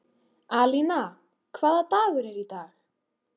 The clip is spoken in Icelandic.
Alína, hvaða dagur er í dag?